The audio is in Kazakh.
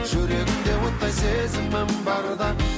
жүрегімде оттай сезімім барда